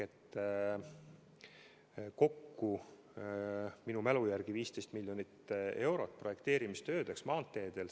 Kokku on minu mälu järgi 15 miljonit eurot projekteerimistöödeks maanteedel.